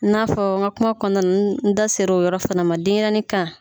N'a fɔ n ka kuma kɔnɔna n da sera o yɔrɔ fana ma denyɛrɛni kan.